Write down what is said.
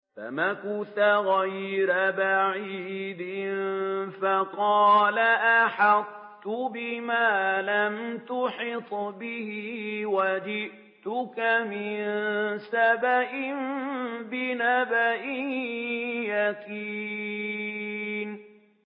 فَمَكَثَ غَيْرَ بَعِيدٍ فَقَالَ أَحَطتُ بِمَا لَمْ تُحِطْ بِهِ وَجِئْتُكَ مِن سَبَإٍ بِنَبَإٍ يَقِينٍ